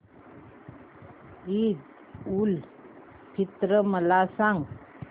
ईद उल फित्र मला सांग